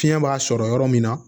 Fiɲɛ b'a sɔrɔ yɔrɔ min na